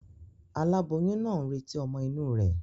Aláboyún naa n retí ọ́mọ́ inú rè